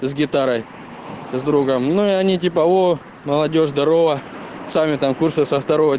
с гитарой с другом но они типа во молодёжь здорово сами там курсов